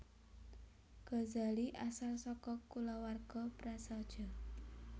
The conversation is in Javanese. Ghazali asal saka kulawarga prasaja